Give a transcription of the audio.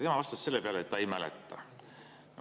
Tema vastas selle peale, et ta ei mäleta.